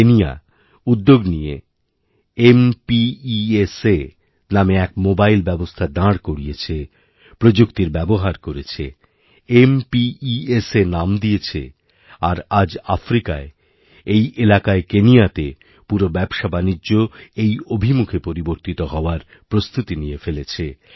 কেনিয়াউদ্যোগ নিয়ে ম্পেস নামে এক মোবাইল ব্যবস্থা দাঁড় করিয়েছে প্রযুক্তির ব্যবহার করেছে ম্পেস নাম দিয়েছে আর আজআফ্রিকার এই এলাকায় কেনিয়াতে পুরো ব্যবসাবাণিজ্য এই অভিমুখে পরিবর্তিত হওয়ারপ্রস্তুতি নিয়ে ফেলেছে